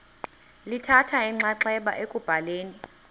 lithatha inxaxheba ekubhaleni